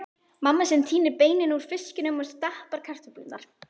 Mamma sem tínir beinin úr fiskinum og stappar kartöflurnar.